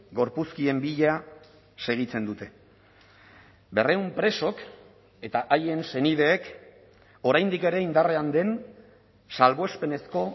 gorpuzkien bila segitzen dute berrehun presok eta haien senideek oraindik ere indarrean den salbuespenezko